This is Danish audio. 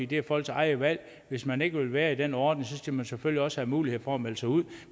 det er folks eget valg hvis man ikke vil være i den ordning skal man selvfølgelig også have mulighed for at melde sig ud